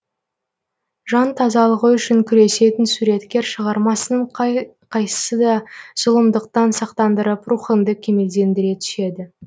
жан тазалығы үшін күресетін суреткер шығармасының қай қайсысы да зұлымдықтан сақтандырып рухыңды кемелдендіре түседі